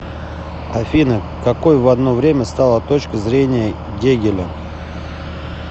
афина какой в одно время стала точка зрения гегеля